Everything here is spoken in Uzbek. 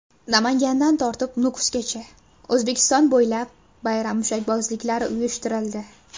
Namangandan tortib Nukusgacha: O‘zbekiston bo‘ylab bayram mushakbozliklari uyushtirildi .